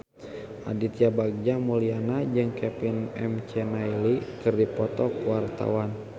Aditya Bagja Mulyana jeung Kevin McNally keur dipoto ku wartawan